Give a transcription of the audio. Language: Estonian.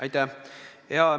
Aitäh!